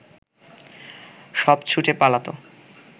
সব ছুটে পালাত